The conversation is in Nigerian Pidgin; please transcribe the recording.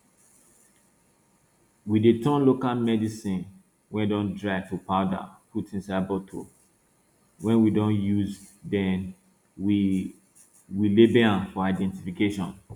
we dey turn local medicine wey don dry to powder put inside bottle wey we don use then we we label am for identification